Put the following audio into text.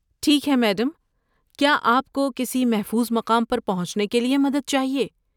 ٹھیک ہے، میڈم، کیا آپ کو کسی محفوظ مقام پر پہنچنے کے لیے مدد چاہیے۔